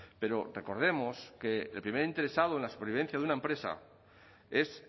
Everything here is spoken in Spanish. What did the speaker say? pero recordemos que el primer interesado en la supervivencia de una empresa es